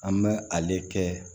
An bɛ ale kɛ